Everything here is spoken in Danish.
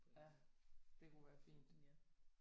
Ja det kunne være fint